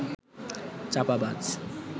চাপাবাজ